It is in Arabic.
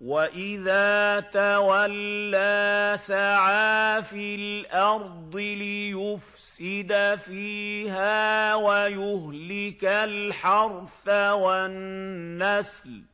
وَإِذَا تَوَلَّىٰ سَعَىٰ فِي الْأَرْضِ لِيُفْسِدَ فِيهَا وَيُهْلِكَ الْحَرْثَ وَالنَّسْلَ ۗ